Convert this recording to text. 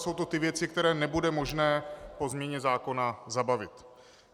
Jsou to ty věci, které nebude možné po změně zákona zabavit.